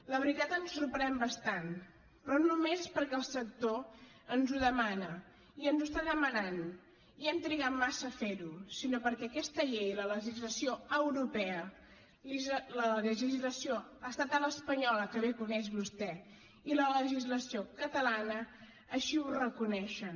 la veritat ens sorprèn bastant però no només és perquè el sector ens ho demana i ens ho està demanant i hem trigat massa a ferho sinó perquè aquesta llei la legislació europea la legislació estatal espanyola que bé coneix vostè i la legislació catalana així ho reconeixen